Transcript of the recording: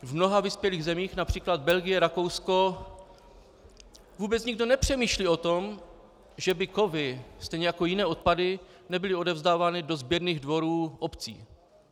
V mnoha vyspělých zemích, například Belgie, Rakousko, vůbec nikdo nepřemýšlí o tom, že by kovy, stejně jako jiné odpady, nebyly odevzdávány do sběrných dvorů obcí.